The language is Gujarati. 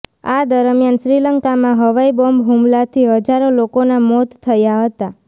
આ દરમિયાન શ્રીલંકામાં હવાઈ બોમ્બ હુમલાથી હજારો લોકોના મોત થયા હતા